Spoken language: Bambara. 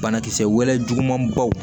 Banakisɛ wele juguman baw